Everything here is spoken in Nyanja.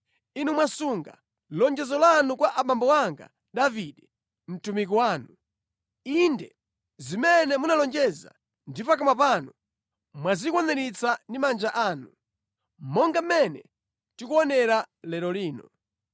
Inu mwasunga lonjezo lanu kwa abambo anga Davide, mtumiki wanu. Inde zimene munalonjeza ndi pakamwa panu, mwazikwaniritsa ndi manja anu, monga mmene tikuonera lero lino.